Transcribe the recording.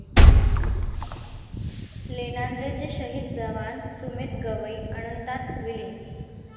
लोणाद्राचे शहीद जवान सुमेध गवई अनंतात विलीन